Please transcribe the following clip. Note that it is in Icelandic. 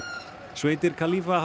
sveitir